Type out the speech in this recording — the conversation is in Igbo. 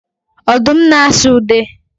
Odum na asụ ude